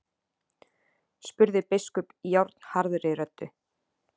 spurði biskup járnharðri röddu.